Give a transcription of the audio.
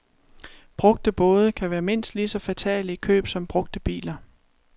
Brugte både kan være mindst lige så fatale i køb som brugte biler.